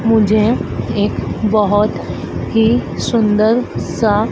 मुझे एक बहोत ही सुंदर सा--